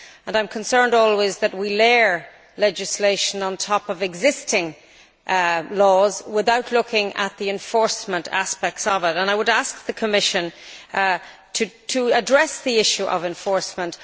I am always concerned that we layer legislation on top of existing laws without looking at the enforcement aspects, and I would ask the Commission to address the issue of enforcement.